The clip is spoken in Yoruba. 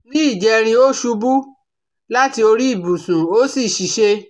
Ní ìjẹrin ó ṣubú láti orí ìbùsùn ó sì ṣìṣe